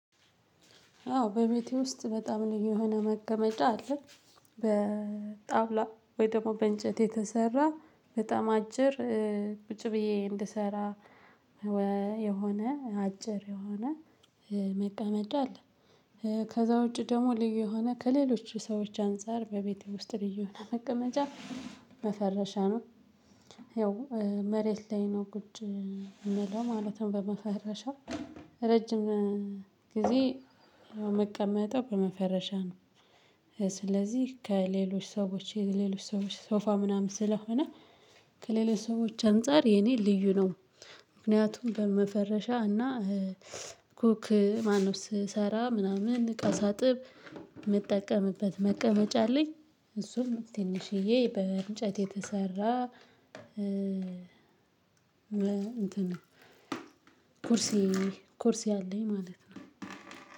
አዎ በቤቴ ውስጥ በጣም ልዩ የሆነ መቀመጫ አለ። በጣውላ ወይም ደግሞ በእንጨት የተሰራ በታም አጭር ቁጭ ብየ እንድሰራ አዎ በቤቴ ውስጥ በጣም ልዩ የሆነ መቀመጫ አለ። በጣውላ ወይ ደግሞ በእንጨት የተሰራ በጣም አጭር ቁጭ ብየ እንድሰራ ከዛ ውጭ ደግሞ ልዩ የሆነ ከሌሎች ሰዎች አንፃር በቤቴ ውስጥ ልዩ የሆነ መቀመጫ መፈረሻ ነው። ያውም መሬት ላይ ነው ቁጭ የምለው ማለት ነው በመፈረሻ። ረጅም ግዜ የምቀመጠው በመፈረሻ ነው። ስለዚህ ከሌሎች ሰዎች የሌሎች ሰዎች ሶፋ ምናምን ስለሆነ ከሌሎች ሰዎች አንፃር የኔ ልዩ ነው። ምክንያቱም በመፈረሻ እና ኮክ ማነው ስሰራ ምናምን ቀን ሳጥብ ምጠቀምበት መቀመጫ አለኝ። እሱም ትንሽየ በእንጨት የተሰራ እንትን ነው። ኩርሴ ኩርሴ አለኝ ማለት ነው።